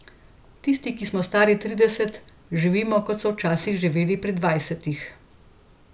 Tisti, ki smo stari trideset, živimo, kot so včasih živeli pri dvajsetih.